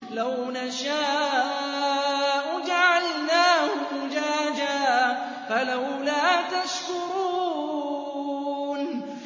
لَوْ نَشَاءُ جَعَلْنَاهُ أُجَاجًا فَلَوْلَا تَشْكُرُونَ